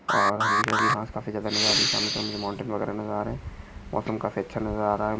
और हरी भरी घास काफी ज्यादा नजर आ रही है। सामने की तरफ माउंटेन वगैरा नजर आ रहे है। मौसम काफी अच्छा नजर आ रहा है।